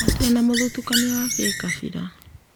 Matĩrĩ na mũthutũkanio wa gĩkabira